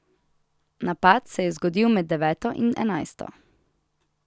Napad se je zgodil med deveto in enajsto.